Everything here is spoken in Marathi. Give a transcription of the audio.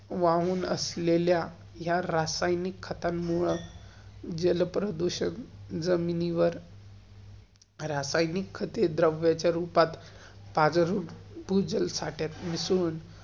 वाहून असलेल्या ह्या रासायनिक, खतांमुळं जलप्रदूषण जमिनीवर रासायनिक खते द्रव्य च्या रुपात, पाज्रून भुजल साठ्यात मीसळुण